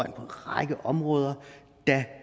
en række områder